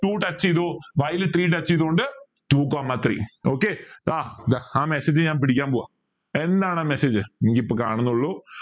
two touch ചെയ്തു y ൽ three touch ചെയ്തോണ്ട് two comma three okay ആ ദാ ആ mesasage ഞാൻ പിടിക്കാൻ പോവാ എന്താണ് message എനിക്ക് ഇപ്പൊ കാണുന്നെ ഇള്ളൂ